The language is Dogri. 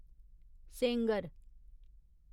सेंगर